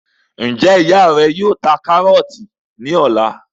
Njẹ ìyá rẹ yóò ta karọọti ní ọ̀la?